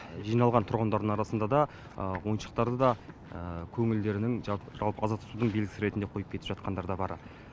жиналған тұрғындардың арасында да ойыншықтарды да көңілдерінің жалпы аза тұтудың белгісі ретінде қойып кетіп жатқандар бар